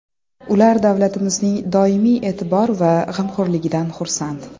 Ular davlatimizning doimiy e’tibor va g‘amxo‘rligidan xursand.